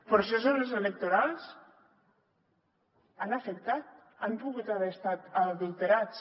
processos electorals han pogut haver estat adulterats